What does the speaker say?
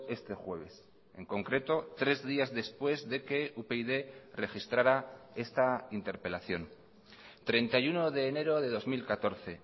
este jueves en concreto tres días después de que upyd registrara esta interpelación treinta y uno de enero de dos mil catorce